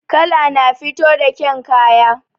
Kala na fito da ƙyan kaya